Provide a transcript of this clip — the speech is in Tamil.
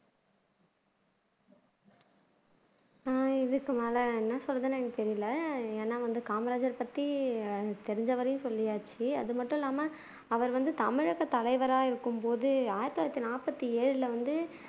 உம் இதுக்கு மேல என்ன சொல்றதுன்னே தெரியல ஏன்னா வந்து காமராஜரைப்பத்தி எனக்கு தெரிஞ்ச வரையும் சொல்லியாச்சு அது மட்டும் இல்லாம அவர் வந்து தமிழக தலைவரா இருக்கும்போது ஆயிரத்து தொள்ளாயிரத்து நாற்பத்தி ஏழுல வந்து